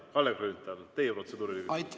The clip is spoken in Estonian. Kalle Grünthal, teie protseduuriline küsimus.